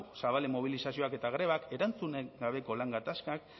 zabalen mobilizazioak eta grebak erantzunik gabeko lan gatazkak